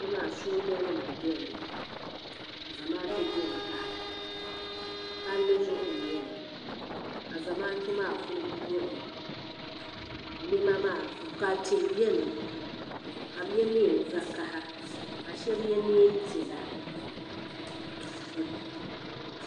Kpe maa sooja nima n bɛni ka zamaatu bɛni pahi palli zuɣu n nyeli ka zamaatu maa ku muɣi ka tihi bɛni ka bi yɛ niɛn vakaha ka shɛba yɛ niɛn piɛla.